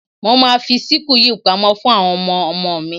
Mo ma fi síkù yìí pamọ́ fún àwọn ọmọmo mi.